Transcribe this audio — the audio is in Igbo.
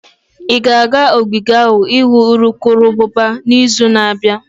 Ị ga-aga ogige ahụ ịhụ urukurubụba n'izu na-abịa?